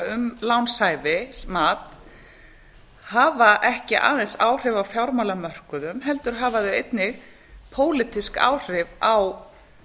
um lánshæfi mat hafa ekki aðeins áhrif á fjármálamörkuðum heldur hafa þau einnig pólitísk áhrif á